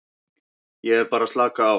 Ég er bara að slaka á.